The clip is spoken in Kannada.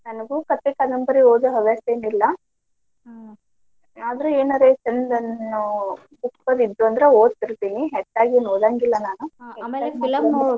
ನನಗೂ ಕಥೆ ಕಾದಂಬರಿ ಓದೋ ಹವ್ಯಾಸೆನಿಲ್ಲಾ ಆದ್ರೂ ಏನಾರೆ ಚಂದನ್ನು books ದು ಇದ್ದು ಅಂದ್ರೆ ಓದ್ತಿರ್ತೀನಿ ಹೆಚ್ಚಾಗೇನ್ ಓದಂಗಿಲ್ಲ ನಾನ್